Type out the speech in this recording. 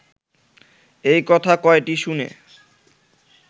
এই কথা কয়টি শুনে